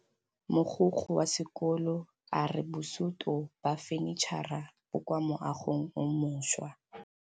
Mogokgo wa sekolo a re bosutô ba fanitšhara bo kwa moagong o mošwa.